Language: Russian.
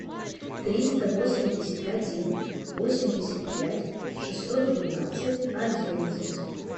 триста восемьдесят один восемьдесят пять шестьсот двенадцать одиннадцать